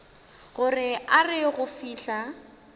gore a re go fihla